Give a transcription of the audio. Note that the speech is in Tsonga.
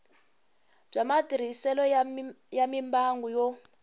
bya matirhiselo ya mimbangu yo